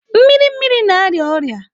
Mmiri mmiri na-arịa ọrịa.